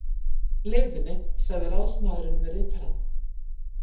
leiðinni sagði ráðsmaðurinn við ritarann